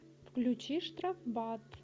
включи штрафбат